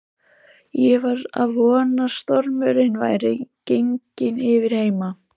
Ég var að vona að stormurinn væri genginn yfir heima.